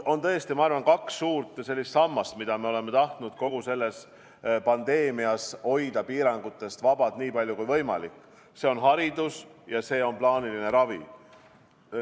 On tõesti kaks sellist suurt sammast, mida me oleme tahtnud kogu selle pandeemia keskel hoida piirangutest vabad nii palju kui võimalik, need on haridus ja plaaniline ravi.